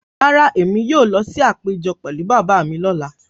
Rárá, èmi yóò lọ sí àpéjọ pẹ̀lú bàbá mi lọ́la